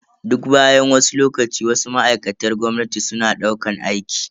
Duk bayan wasu lokaci, Wasu ma'aikatar gwamnati suna daukan aiki.